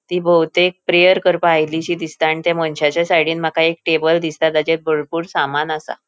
ती बहुतेक प्रैअर करपाक आयलीशी दिसता आणि ते मनशाचा साइडीन माका एक टेबल दिसता तेचेर बरपुर सामान आसा.